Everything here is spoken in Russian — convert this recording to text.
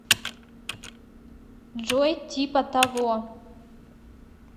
джой типа того